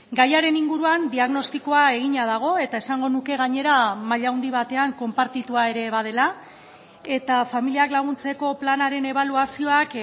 gaiaren inguruan diagnostikoa egina dago eta esango nuke gainera maila handi batean konpartitua ere badela eta familiak laguntzeko planaren ebaluazioak